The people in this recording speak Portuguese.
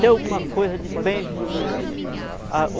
ter alguma coisa de bens na minha vida.